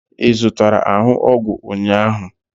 ị zụtara ahụ ọgwụ ụnyaahụ?